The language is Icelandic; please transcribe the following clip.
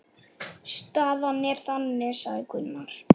Staðan er þannig, sagði Gunnar.